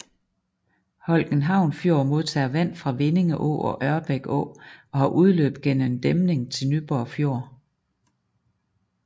Holckenhavn Fjord modtager vand fra Vindinge Å og Ørbæk Å og har udløb gennem en dæmning til Nyborg Fjord